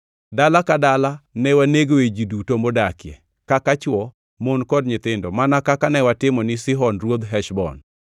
Dala ka dala ne wanegoe ji duto modakie, kaka chwo, mon kod nyithindo mana kaka ne watimo ne Sihon ruodh Heshbon.